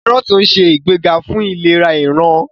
Kárọ́ọ̀tì nse igbega fún ìlera ìran.